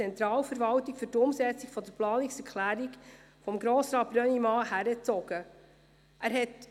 Vielleicht habe ich das damals in der Spardebatte nicht so präzise gesagt.